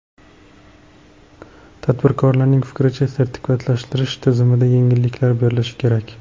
Tadbirkorning fikricha, sertifikatlashtirish tizimida yengilliklar berilishi kerak.